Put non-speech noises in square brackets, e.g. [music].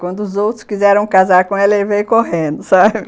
Quando os outros quiseram casar com ela, ele veio correndo, sabe? [laughs]